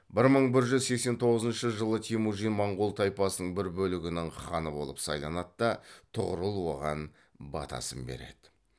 бір мың бір жүз сексен тоғызыншы жылы темүжин моңғол тайпасының бір бөлігінің ханы болып сайланады да тұғырыл оған батасын береді